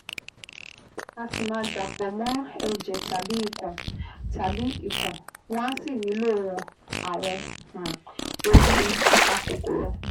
A sì máa dàpọ̀ mọ́ ẹ̀jẹ̀ tàbí ikun, tàbí ikun, wọ́n á sì nílò àwọn um oògùn apakòkòrò